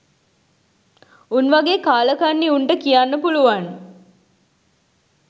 උන් වගේ කාලකන්නි උන්ට කියන්න පුළුවන්